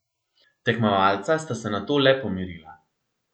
Tekmovalca sta se nato le pomirila.